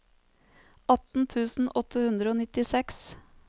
atten tusen åtte hundre og nittiseks